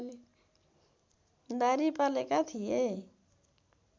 दाह्री पालेका थिए